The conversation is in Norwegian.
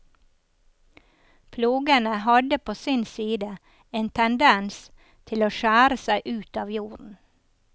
Plogene hadde på sin side en tendens til å skjære seg ut av jorden.